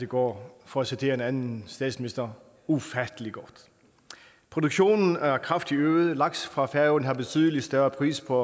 går for at citere en anden statsminister ufattelig godt produktionen er kraftigt øget laks fra færøerne har betydelig større pris på